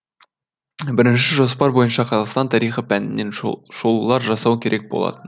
бірінші жоспар бойынша қазақстан тарихы пәнінен шолулар жасау керек болатын